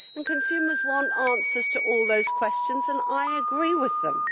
Consumers want answers to all those questions and I agree with them.